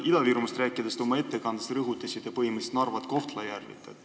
Ida-Virumaast rääkides te oma ettekandes rõhutasite Narvat ja Kohtla-Järvet.